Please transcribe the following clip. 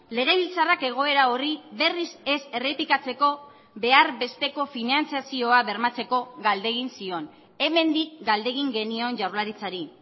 legebiltzarrak egoera horri berriz ez errepikatzeko behar besteko finantzazioa bermatzeko galdegin zion hemendik galdegin genion jaurlaritzari